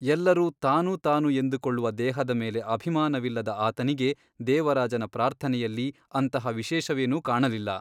ಎಲ್ಲರೂ ತಾನು ತಾನು ಎಂದುಕೊಳ್ಳುವ ದೇಹದ ಮೇಲೆ ಅಭಿಮಾನವಿಲ್ಲದ ಆತನಿಗೆ ದೇವರಾಜನ ಪ್ರಾರ್ಥನೆಯಲ್ಲಿ ಅಂತಹ ವಿಶೇಷವೇನೂ ಕಾಣಲಿಲ್ಲ.